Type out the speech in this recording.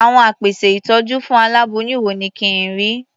Àwọn apèsè ìtọ́jú fún aláboyún wo ni kí n rí?